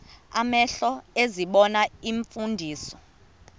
amehlo ezibona iimfundiso